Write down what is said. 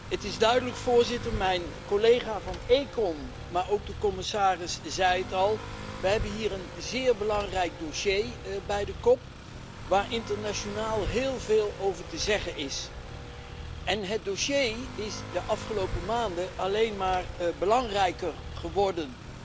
Het is duidelijk, voorzitter mijn collega van de Commissie ECON, maar ook de commissaris zei het al we hebben hier een zeer belangrijk dossier bij de kop waar internationaal heel veel over te zeggen is. Het dossier is de afgelopen maanden bovendien alleen maar belangrijker geworden.